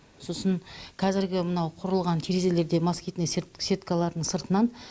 сосын қазіргі мынау құрылған терезелерде москитный сеткалардың сыртынан